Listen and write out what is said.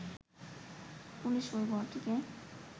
police ওই ঘরটিকে